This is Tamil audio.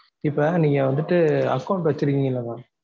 இப்ப நீங்க வந்துட்டு account வச்சு இருக்கீங்கள mam